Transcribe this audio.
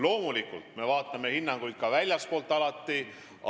Loomulikult me vaatame alati ka väljastpoolt tulnud hinnanguid.